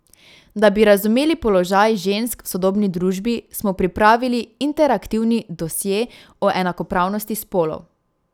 Da bi razumeli položaj žensk v sodobni družbi, smo pripravili interaktivni dosje o enakopravnosti spolov.